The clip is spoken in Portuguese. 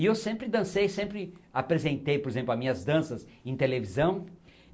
E eu sempre dancei, sempre apresentei, por exemplo, as minhas danças em televisão.